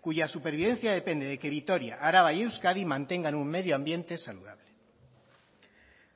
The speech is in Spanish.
cuya supervivencia depende de que vitoria araba y euskadi mantengan un medioambiente saludable